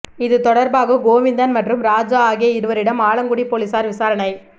இது தொடர்பாக கோவிந்தன் மற்றும் ராஜா ஆகிய இருவரிடம் ஆலங்குடி போலீசார் விசாரணை